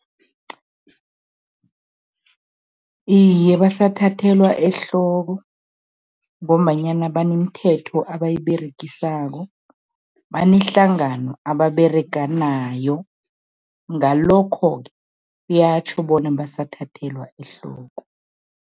Iye, basathathelwa ehloko ngombanyana banemithetho abayiberegisako, banehlangano ababerega nayo, ngalokho-ke kuyatjho bona basathathelwa ehloko.